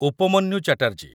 Upamanyu Chatterjee